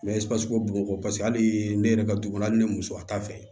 bɔn bɔn bɔn kɔ paseke hali ne yɛrɛ ka dugu hali ne muso a ta fɛ